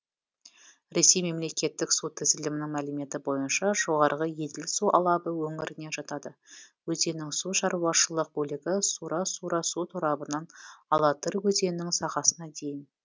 ресей мемлекеттік су тізілімінің мәліметі бойынша жоғарғы еділ су алабы өңіріне жатады өзеннің су шаруашылық бөлігі сура сура су торабынан алатырь өзенінің сағасына дейін